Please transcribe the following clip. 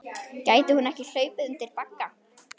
Gæti hún ekki hlaupið undir bagga?